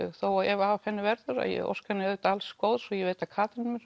ef af henni verður en ég óska henni auðvitað alls góðs og ég veit að Katrín mun